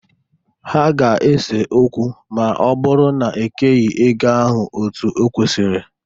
Ha ga-ese okwu ma ọ bụrụ na e keghi ego ahụ otu o kwesiri.